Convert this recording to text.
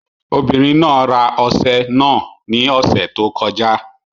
Obìnrin náà ra ọṣẹ náà ní ọ̀sẹ̀ tó kọjá